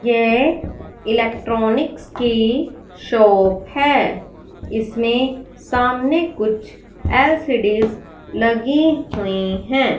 ये इलेक्ट्रॉनिक्स की शॉप है इसमें सामने कुछ एल्सीडिस लगी हुई हैं।